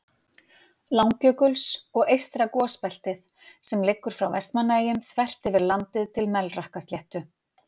Langjökuls, og eystra gosbeltið, sem liggur frá Vestmannaeyjum þvert yfir landið til Melrakkasléttu.